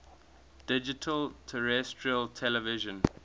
digital terrestrial television